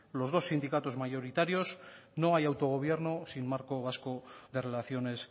los dos sindicatos mayoritarios no hay autogobierno sin marco vasco de relaciones